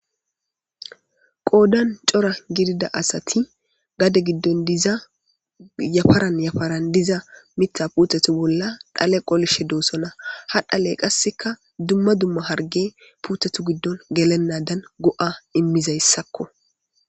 Qoodan cora gidida asati gade giddon diza yafaran yafaran diza mitha puuthatu bolla dhale qolishe doosona ha dhaley qasseka dumma dumma harge puuthatu giddon gelennadan go7a immizayssakko.